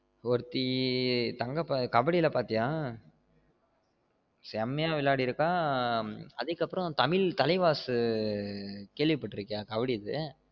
ஒருத்தி தங்க அ கபடில்ல பாத்திய செம்மைய விளையடிருக்க அதுக்கு அப்ரோ தமிழ் தலைவாஸ்சு கேள்வி பட்டு இருக்கியா கபடிது